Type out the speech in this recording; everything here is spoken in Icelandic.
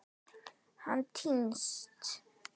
Hann týnst?